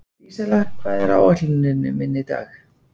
Dísella, hvað er á áætluninni minni í dag?